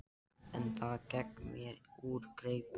En það gekk mér úr greipum.